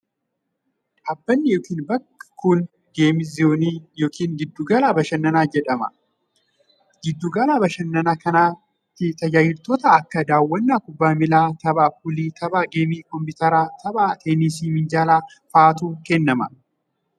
Dhaabbanni yokin bakki kun geem zoonii yokin giddu gala bashannanaa jedhamee waamaam. Giddu gala bashannanaa kanatti tajaajiloota akka:daawwannaa kubbaa miilaa, tapha puulii ,tapha geemii koompiitaraa fi tapha teenisii minjaalaa faatu kennama.